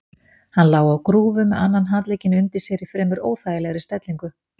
Hann lá á grúfu með annan handlegginn undir sér í fremur óþægilegri stellingu.